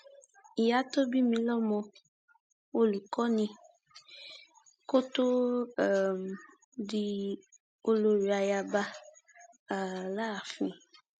ìyá tó bí mi lọmọ olùkọ ni kótóó um di olórí ayaba um láàfin